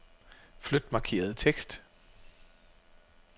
Flyt markerede tekst.